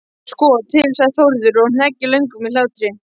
Sko til, sagði Þórður og hneggjaði löngum hlátri.